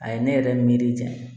A ye ne yɛrɛ miiri jan